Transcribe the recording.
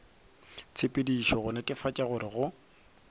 tshepedišong go netefatša gore go